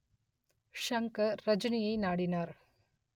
ஷங்கர் ரஜினியை நாடினார்